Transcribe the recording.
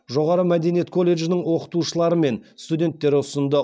жоғары мәдениет колледжінің оқытушылары мен студенттері ұсынды